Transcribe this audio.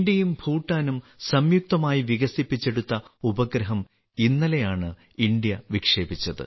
ഇന്ത്യയും ഭൂട്ടാനും സംയുക്തമായി വികസിപ്പിച്ചെടുത്ത ഉപഗ്രഹം ഇന്നലെയാണ് ഇന്ത്യ വിക്ഷേപിച്ചത്